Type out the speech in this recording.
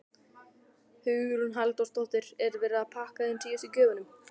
Hugrún Halldórsdóttir: Er verið að pakka inn síðustu gjöfunum?